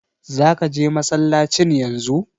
Zaka je masallacin yanzu?